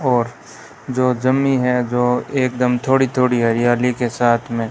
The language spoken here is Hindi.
और जो जमी है जो एकदम थोड़ी थोड़ी हरियाली के साथ मे--